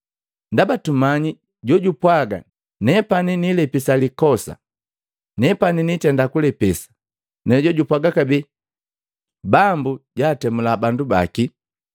Ndaba tummanyi jojapwaga, “Nepani nilepisa likosa, nepani nitenda kulepesa,” na jojapwaga kabee, “Bambu jaatemula bandu baki.”